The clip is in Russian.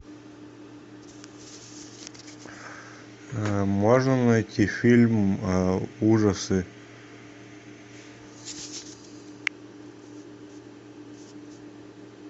можно найти фильм ужасы